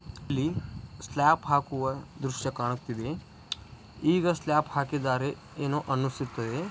ಇಲ್ಲಿ ಸ್ಲ್ಯಾಪ್ ಹಾಕುವ ದೃಶ್ಯ ಕಾಣುತ್ತಿದೆ. ಈಗ ಸ್ಲ್ಯಾಪ್ ಹಾಕಿದರೆ ಏನೋ ಅನಿಸುತ್ತದೆ.